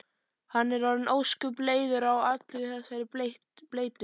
Hann er orðinn ósköp leiður á allri þessari bleytu.